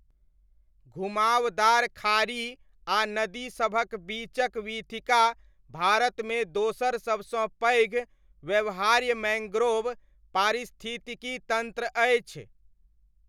घुमावदार खाड़ी आ नदी सभक बीचक वीथिका भारतमे दोसर सबसँ पैघ व्यवहार्य मैङ्ग्रोव पारिस्थितिकी तन्त्र अछि।